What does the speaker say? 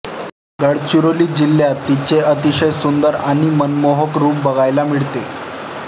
गडचिरोली जिल्ह्यात तिचे अतिशय सुंदर आणि मनमोहक रूप बघायला मिळते